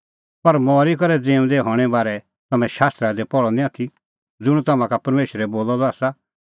पर मरी करै ज़िऊंदै हणें बारै तम्हैं शास्त्र निं पहल़अ आथी ज़ुंण तम्हां का परमेशरै बोलअ द आसा